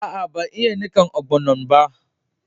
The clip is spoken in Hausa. Aa, ban yi nikan ogbono'n ba.